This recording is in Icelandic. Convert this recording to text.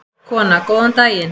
Kona: Góðan daginn.